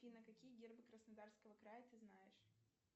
афина какие гербы краснодарского края ты знаешь